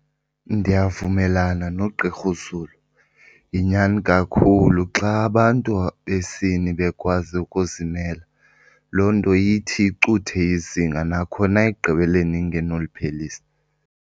Ndiyavumelana noGqr uZulu yinyani kakhulu. Xa abantu besini bekwazi ukuzimela loo nto ithi icuthe izinga nakhona ekugqibeleni ingenoliphelisa.